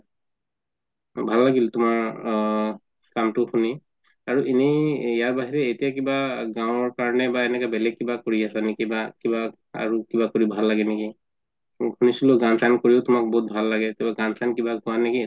ভাল লাগিল তুমাৰ কামটো শুনি আৰু এনে ইয়াৰ বাহিৰে এতিয়া কিবা গাওঁৰ কাৰণে বেলেগ কিবা কৰি আছা নেকি বা কিবা আৰু কিবা কৰি কিনে ভাল লাগে নেকি শুনিছিলো তুমাৰ গান চান কৰিও তুমাৰ বহুত ভাল লাগে কিবা গান চান কিবা গুৱা নেকি?